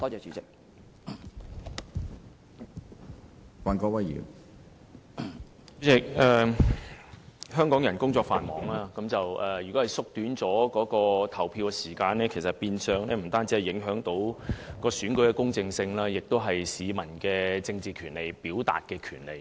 主席，香港人工作繁忙，縮短投票時間不但會影響選舉的公正性，亦會影響市民的政治權利和表達權利。